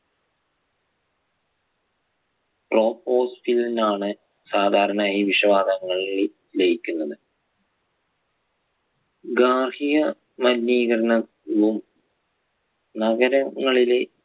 Troposphere ലാണ് സാധാരണ ഈ വിഷവാതകങ്ങൾ ലിയ~ലയിക്കുന്നത്. ഗാർഹിക മലിനീകരണവും നഗരങ്ങളിലെ